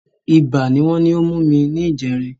Ibà ni wọ́n ní ó mú mi níjẹrin